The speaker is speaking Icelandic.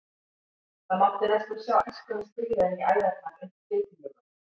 Það mátti næstum sjá æskuna skríða inn í æðarnar undir fitulögunum.